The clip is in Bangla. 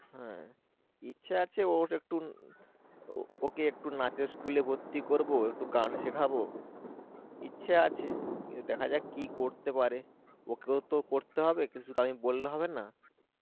ইচ্ছা আছে ওর একটু ওকে একটু নাচের school এ ভর্তি করব গান শেখাবো ইচ্ছা আছে কিন্তু দেখা যাক কি করতে পারে ওকেও করতে হবে আমি তো বললে হবে না